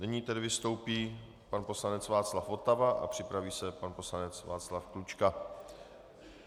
Nyní tedy vystoupí pan poslanec Václav Votava a připraví se pan poslanec Václav Klučka.